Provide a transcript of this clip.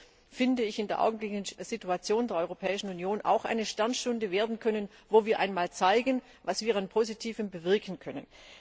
Es hätte in der augenblicklichen Situation der Europäischen Union auch eine Sternstunde werden können, in der wir einmal zeigen, was wir an Positivem bewirken können.